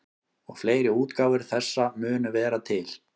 Og fleiri útgáfur þessa munu vera til.